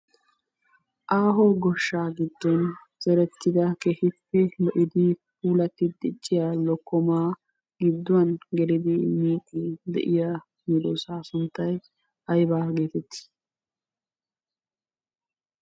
Aaho goshshaa giddon zerettida keehippe lo'idi puulatti dicciya lokkomaa gidduwan gelidi miiddi de'iya medoossaa sunttayi aybaa geetettii?